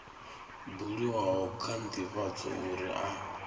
buliwaho kha ndivhadzo uri a